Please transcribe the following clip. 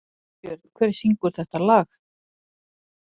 Steinbjörn, hver syngur þetta lag?